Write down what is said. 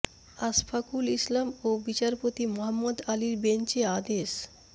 আশফাকুল ইসলাম ও বিচারপতি মোহাম্মদ আলীর বেঞ্চ এ আদেশ